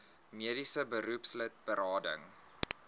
mediese beroepslid berading